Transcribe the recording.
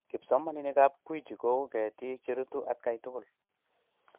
kipsomaninikab Gwiji kouu ketiik cherutu atkai tugul